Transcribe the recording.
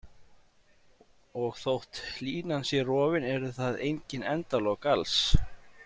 Og þótt línan sé rofin, eru það engin endalok alls.